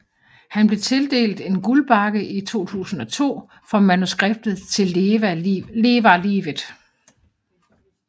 Han blev tildelt en Guldbagge i 2002 for manuskriptet til Leva livet